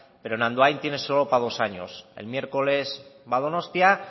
pero en andoain tiene solo para dos años el miércoles va a donostia